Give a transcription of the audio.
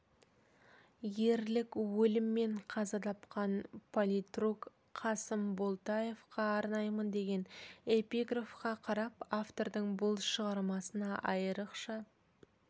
ерлік өліммен қаза тапқан политрук қасым болтаевқа арнаймын деген эпиграфқа қарап автордың бұл шығармасына айрықша